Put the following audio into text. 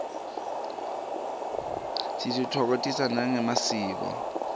sititfokotisa nangemasiko